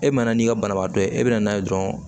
E mana n'i ka banabaatɔ ye e bɛna n'a ye dɔrɔn